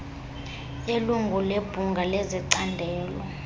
yelungu lebhunga lecandelo